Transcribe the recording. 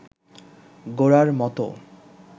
গোরার মতো